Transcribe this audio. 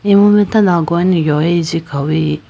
imu mai tando agu gane yoye chi khawuyi.